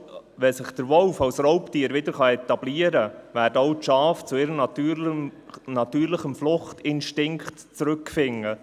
Wenn sich der Wolf als Raubtier wieder etablieren kann, werden auch die Schafe zu ihrem natürlichen Fluchtinstinkt zurückfinden.